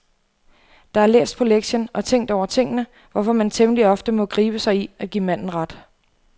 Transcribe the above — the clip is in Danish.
Der er læst på lektien og tænkt over tingene, hvorfor man temmelig ofte må gribe sig i at give manden ret.